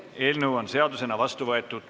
Eelnõu on seadusena vastu võetud.